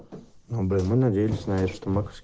но блять мы надеемся знаешь что